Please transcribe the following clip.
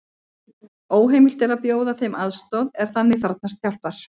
Óheimilt er að bjóða þeim aðstoð er þannig þarfnast hjálpar.